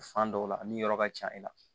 Fan dɔw la ni yɔrɔ ka ca i la